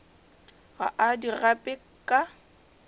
ga a di gape ka